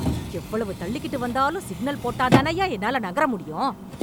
எவ்வளவு தள்ளிக்கிட்டு வந்தாலும் சிக்னல் போட்டாதானய்யா என்னால நகர முடியும்..